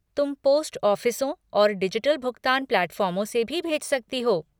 तुम पोस्ट ऑफ़िसों और डिजिटल भुगतान प्लेटफ़ार्मों से भी भेज सकती हो।